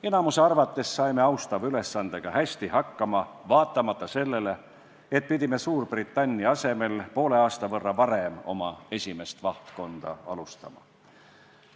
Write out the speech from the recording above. Enamiku arvates saime austava ülesandega hästi hakkama, vaatamata sellele, et pidime Suurbritannia asemel poole aasta võrra varem oma esimest vahtkonda alustama.